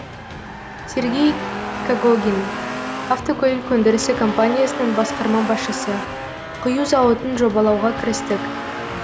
сергей когогин автокөлік өндірісі компаниясының басқарма басшысы құю зауытын жобалауға кірістік